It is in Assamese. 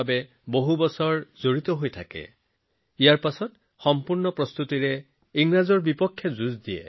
তেওঁ সম্পূৰ্ণ প্ৰস্তুতিৰে ব্ৰিটিছৰ বিৰুদ্ধে যুদ্ধ আৰম্ভ কৰিছিল আৰু সাহস আৰু দৃঢ়তাৰে যুদ্ধ কৰিছিল